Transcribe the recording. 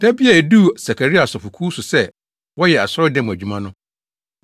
Da bi a eduu Sakaria asɔfokuw so sɛ wɔyɛ asɔredan mu adwuma no,